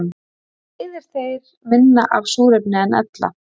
Þá eyða þeir minna af súrefni en ella.